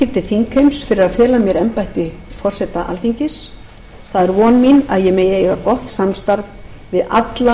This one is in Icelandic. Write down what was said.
þingheims fyrir að fela mér embætti forseta alþingis það er von mín að ég megi eiga gott samstarf við alla